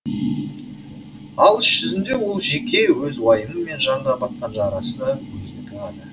ал іс жүзінде ол жеке өз уайымы мен жанға батқан жарасы да өзінікі ғана